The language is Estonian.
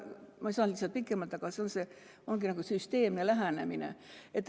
Ma ei saa lihtsalt pikemalt rääkida, aga see ongi nagu süsteemne lähenemine.